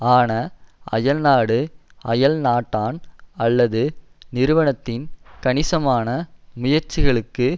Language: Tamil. ஆன அயல்நாடு அயல்நாட்டான் அல்லது நிறுவனத்தின் கணிசமான முயற்சிகளுக்கு